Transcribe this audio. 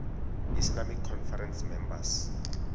islamic conference members